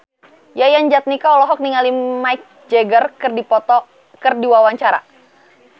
Yayan Jatnika olohok ningali Mick Jagger keur diwawancara